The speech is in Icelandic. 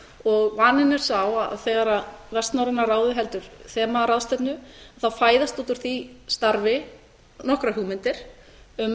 og vaninn er sá að þegar vestnorræna ráðið heldur þemaráðstefnu þá fæðast út úr því starfi nokkrar hugmyndir um með